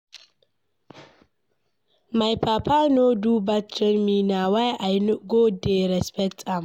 My papa no do bad train me na why I go dey respect am.